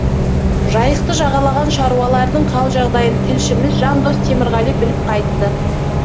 жайықты жағалаған шаруалардың хал жағдайын тілшіміз жандос темірғали біліп қайтты